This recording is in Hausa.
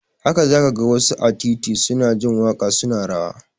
Haka za ka ga wasu a titi su na jin waƙa su na rawa